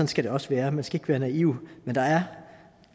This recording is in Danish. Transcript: skal det også være man skal ikke være naiv men der er